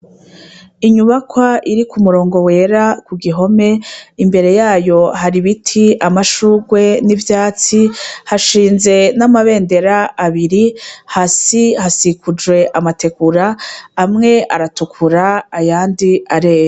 Inyubakwa iri ku murongo wera ku gihome imbere yayo hari ibiti amashurwe n'ivyatsi hashinze n'amabendera abiri hasi hasikujwe amatekura amwe aratukura ayandi areya.